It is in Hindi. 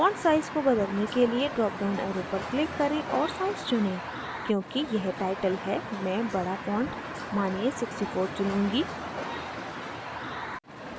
font size को बदलने के लिए drop down arrow पर click करें और size चुनें क्योंकि यह टाइटल है मैं बड़ा font मानिए 64 चुनूँगी